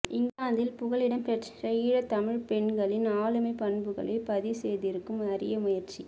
இங்கிலாந்தில் புகலிடம்பெற்ற ஈழத் தமிழ்ப்பெண்களின் ஆளுமைப்பண்புகளை பதிவுசெய்திருக்கும் அரிய முயற்சி